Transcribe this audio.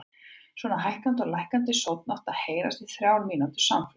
Svona hækkandi og lækkandi sónn átti að heyrast í þrjár mínútur samfleytt.